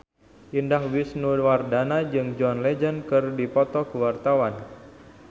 Indah Wisnuwardana jeung John Legend keur dipoto ku wartawan